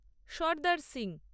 Sardar Singh